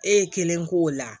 E ye kelen k'o la